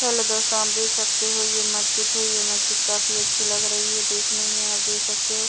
Hello दोस्तों आप देख सकते हो ये मस्जिद है। ये मस्जिद काफी अच्छी लग रही है। देखने में आप देख सकते हो।